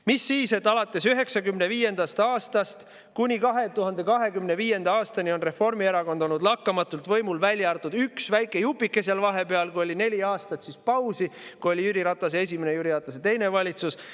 Mis siis, et alates 1995. aastast kuni 2025. aastani on Reformierakond olnud lakkamatult võimul, välja arvatud üks väike jupike vahepeal, kui oli neli aastat pausi, kui olid Jüri Ratase esimene ja teine valitsus.